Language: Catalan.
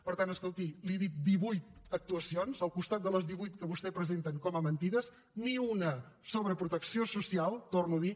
per tant escolti li he dit divuit actuacions al costat de les divuit que vostès presenten com a mentides ni una sobre protecció social ho torno a dir